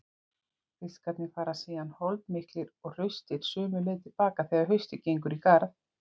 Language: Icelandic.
Fiskarnir fara síðan holdmiklir og hraustir sömu leið til baka þegar haustið gengur í garð.